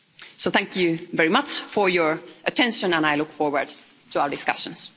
So, thank you very much for your attention and I look forward to our discussions.